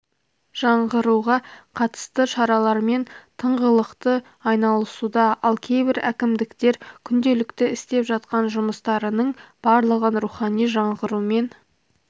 жаңғыруға қатысты шаралармен тыңғылықты айналысуда ал кейбір әкімдіктер күнделікті істеп жатқан жұмыстарының барлығын рухани жаңғырумен